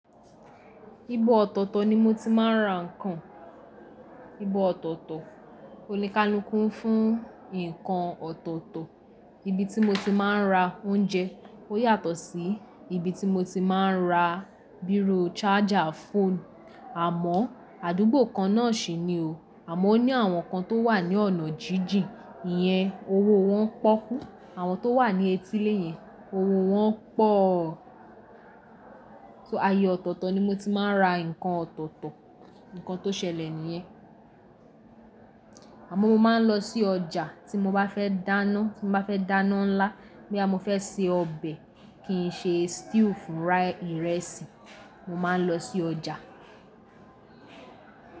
Ibo ọ̀tọ̀tọ̀ ni mo ti máa ń ra ǹkan, ibo ọ̀tọ̀tọ̀, oníkánúkú fún ǹkan ọ̀tọ̀tọ̀, ibi tí mo ti máa ń ra oúnjẹ ò yàtọ̀ sí ibi tí mo ti máa ń ra bírò, charger phone. Àmọ́ àdúgbò kan náà sì ni o, àmọ́ ó ní àwọn kan tó wà ní ọ̀nà jíjìn, ìyẹn owó wọn pọ́kú, àwọn tó wà ní etílé yẹn owó wọn pọ̀. So aye ọ̀tọ̀tọ̀ ni mo ti máa ń ra ǹkan ọ̀tọ̀tọ̀, ǹkan tó ṣẹlẹ̀ nìyẹn. Àmọ́ mo máa ń lọ sí ọjà tí mo bá fẹ́ dáná, tí mo bá fẹ́ dáná ńlá, boyà mo fẹ́ se ọbẹ̀ kì í ṣe stew fún fried ìrẹsì, mo máa ń lọ sí ọjà.